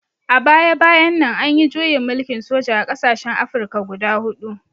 A baya-bayan nan an yi juyin mulkin soja a ƙasashen Afirka guda huɗu.